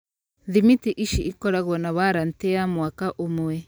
Thimiti ici ikoragwo na warranty ya mwaka ũmwe.